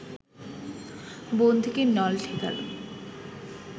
বন্দুকের নল ঠেকাল